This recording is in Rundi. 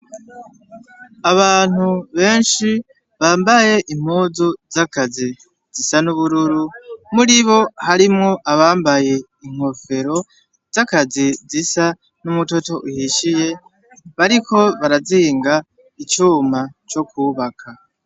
Abantu benshi bambaye impuzu z'akazi zisa n'ubururu ,muribo harimwo abambaye inkofero z'akazi zisa n'umutoto uhishiye ,bariko barazinga icuma co kubaka.